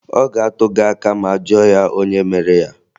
Ọ ga-atụ gị aka ma a jụọ ya onye mere ya